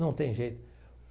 Não tem jeito.